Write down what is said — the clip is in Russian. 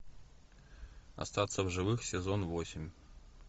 остаться в живых сезон восемь